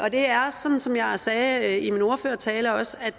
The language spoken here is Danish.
det er sådan som jeg sagde i min ordførertale også